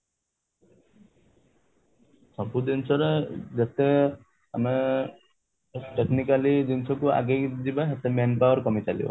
ସବୁ ଜିନିଷ ରେ ଯେତେ ଆମେ technically ଜିନିଷ କୁ ଆଗେଇଯିବା ସେତେ men power କମି ଚାଲିବ